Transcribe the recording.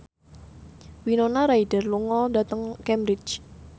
Winona Ryder lunga dhateng Cambridge